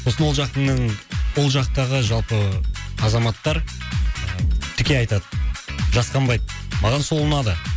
сосын ол жақтының ол жақтағы жалпы азаматтар ы тіке айтады жасқанбайды маған сол ұнады